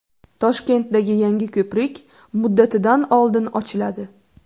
Toshkentdagi yangi ko‘prik muddatidan oldin ochiladi.